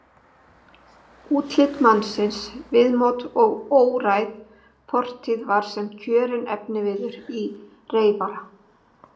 Útlit mannsins, viðmót og óræð fortíð var sem kjörinn efniviður í reyfara.